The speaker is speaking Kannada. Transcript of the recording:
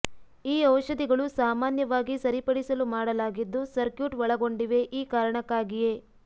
ಈ ಔಷಧಿಗಳು ಸಾಮಾನ್ಯವಾಗಿ ಸರಿಪಡಿಸಲು ಮಾಡಲಾಗಿದ್ದು ಸರ್ಕ್ಯೂಟ್ ಒಳಗೊಂಡಿವೆ ಈ ಕಾರಣಕ್ಕಾಗಿಯೇ